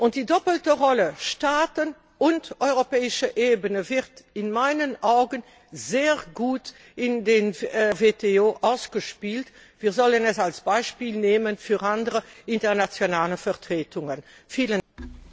Und die doppelte Rolle Staaten und europäische Ebene wird in meinen Augen sehr gut in der WTO ausgespielt. Wir sollten dies als Beispiel für andere internationale Vertretungen nehmen.